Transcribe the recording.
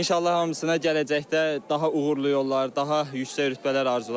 İnşallah hamısına gələcəkdə daha uğurlu yollar, daha yüksək rütbələr arzulayıram.